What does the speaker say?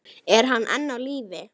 Er hann enn á lífi?